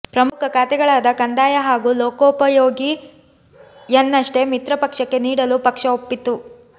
ಪ್ರಮುಖ ಖಾತೆಗಳಾದ ಕಂದಾಯ ಹಾಗೂ ಲೋಕೋಪಯೋಗಿಯನ್ನಷ್ಟೇ ಮಿತ್ರ ಪಕ್ಷಕ್ಕೆ ನೀಡಲು ಪಕ್ಷ ಒಪ್ಪಿತ್ತು